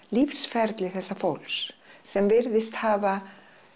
lífsferli þessa fólks sem virðist hafa